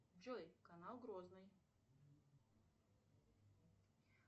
джой канал грозный